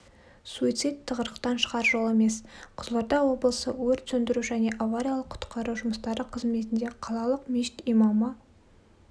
суицид тығырықтан шығар жол емес қызылорда облысы өрт сөндіру және авариялық-құтқару жұмыстары қызметінде қалалық мешіт имамы